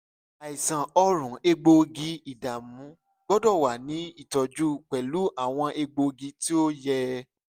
aisan ọrùn egboogi-idamu gbọdọ wa ni itọju pẹlu awọn egboogi ti o yẹ